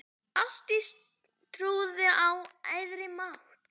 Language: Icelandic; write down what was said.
Ástdís trúði á æðri mátt.